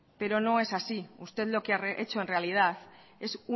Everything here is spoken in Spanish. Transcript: pero no es así usted lo que ha hecho en realidad es